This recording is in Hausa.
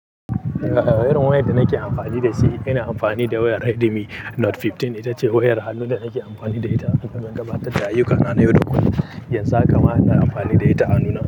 Ahh irin wayar da nake amfani da shi ina amfani da wayar Redmi Note fifteen. Ita ce wayar hannu da nake amfani da ita. Domin gaba ta da ayyuka na na yau da kullin, yanzu haka ma ina amfani da ita hannuna.